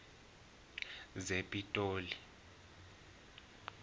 zepitoli